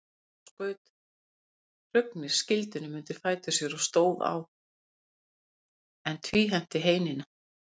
Þá skaut Hrungnir skildinum undir fætur sér og stóð á, en tvíhenti heinina.